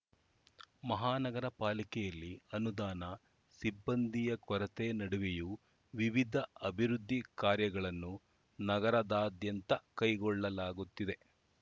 ಮಹಾನಗರ ಪಾಲಿಕೆಯಲ್ಲಿ ಅನುದಾನ ಸಿಬ್ಬಂದಿ ಕೊರತೆ ನಡುವೆಯೂ ವಿವಿಧ ಅಭಿವೃದ್ಧಿ ಕಾರ್ಯಗಳನ್ನು ನಗರದಾದ್ಯಂತ ಕೈಗೊಳ್ಳಲಾಗುತ್ತಿದೆ